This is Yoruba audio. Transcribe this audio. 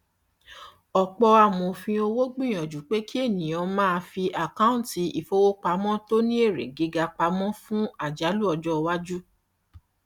ọpọ amòfin owó gbìyànjú pé kí ènìyàn máa fi àkọọntì ìfowópamọ tó ní èrè gíga pamọ fún àjálù ọjọ iwájú